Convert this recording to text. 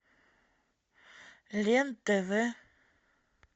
лен тв